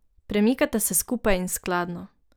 Premikata se skupaj in skladno.